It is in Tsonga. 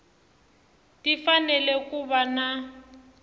ti fanele ku va na